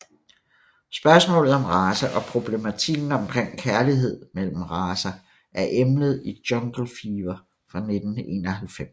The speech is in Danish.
Spørgsmålet om race og problematikken omkring kærlighed mellem racer er emnet i Jungle Fever fra 1991